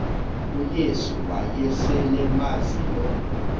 uyesu wayeselemazi lo